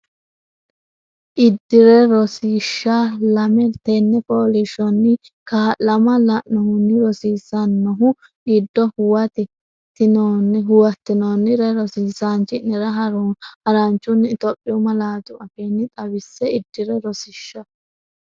Iddire Rosiishsha Lame Tenne fooliishshonni kaa’lama lainohunni rossinoonnihu giddo huwat- tinoonnire rosiisaanchi’nera haranchunni Itophiyu malaatu afiinni xaw- isse Iddire Rosiishsha.